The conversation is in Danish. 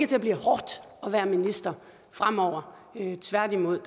til at blive hårdt at være minister fremover tværtimod